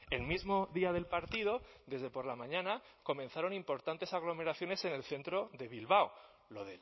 el mismo día del partido desde por la mañana comenzaron importantes aglomeraciones en el centro de bilbao lo